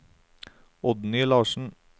Oddny Larsen